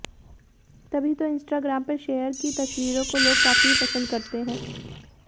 तभी तो इंस्टाग्राम पर शेयर की तस्वीरों को लोग काफी पसंद करते हैं